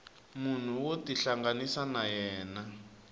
munhu wo tihlanganisa na yena